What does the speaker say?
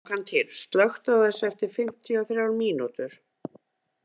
Angantýr, slökktu á þessu eftir fimmtíu og þrjár mínútur.